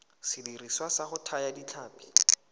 sediriswa sa go thaya ditlhapi